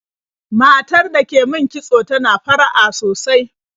Matar da ke min kitso tana fara'a sosai.